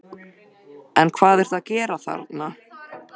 En hvað ertu að gera þarna?